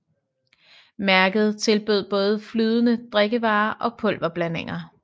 Mærket tilbød både flydende drikkevarer og pulver blandinger